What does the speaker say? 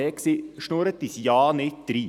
Schnorren Sie uns ja nicht drein.